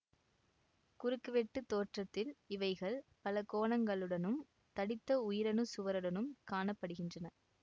குறுக்குவெட்டுத் தோற்றத்தில் இவைகள் பல கோணங்களுடனும் தடித்த உயிரணுச்சுவருடனும் காண படுகின்றன